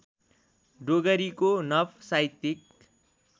डोगरीको नव साहित्यिक